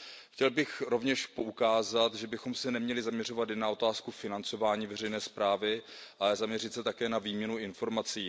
Chtěl bych rovněž poukázat, že bychom se neměli zaměřovat jen na otázku financování veřejné zprávy, ale zaměřit se také na výměnu informací.